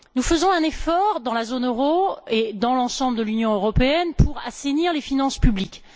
Nous faisons un effort dans la zone euro et dans l'ensemble de l'Union européenne pour assainir les finances publiques.